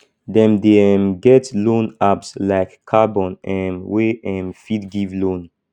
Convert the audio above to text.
dem dey um get loan apps like carbon um wey um fit give loan